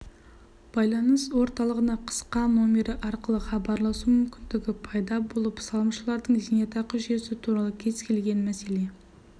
байланыс орталығына қысқа номері арқылы хабарласу мүмкіндігі пайда болып салымшылардың зейнетақы жүйесі туралы кез-келген мәселе